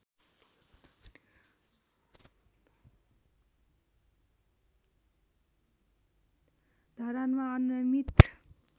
धरानमा अनियमित